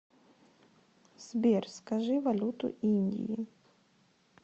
сбер скажи валюту индии